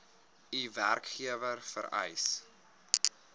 u werkgewer vereis